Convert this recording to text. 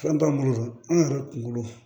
Fɛn t'an bolo an yɛrɛ kunkolo